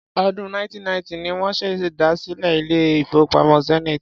Ọdún 1990 ni wọ́n ṣèdásílẹl ilé-ìfowópamọ́ Zenith.